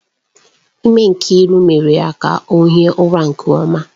Ime Nkiru mere ka ọ hie ụra nke ọma.